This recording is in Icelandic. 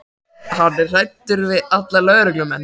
Hann er hræddur við alla lögreglumenn.